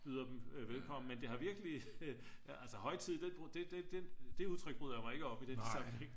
byder dem velkommen men det har virkelig højtid det udtryk bryder jeg mig ikke om i den sammenhæng